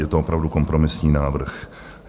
Je to opravdu kompromisní návrh.